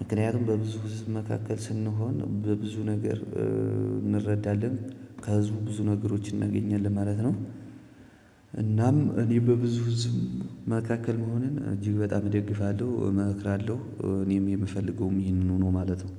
ምክንያቱም በብዙ ህዝብ መካከል ስንሆን በብዙ ነገር እንረዳለን ከህዝቡ ብዙ ነገሮች እናገኛለን ማለት ነው። እናም እኔ በብዙ ህዝብ መካከል መሆንን እጅግ በጣም እደግፋለሁ እመክራለሁ። እኔም የምፈልገውም ይህንንኑ ነው ማለት ነው